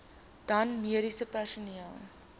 dan mediese personeel